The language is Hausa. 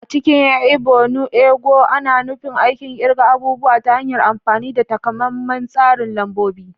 A cikin Ibo, “nu ego” na nufin aikin kirga abubuwa ta hanyar amfani da takamaiman tsarin lambobi.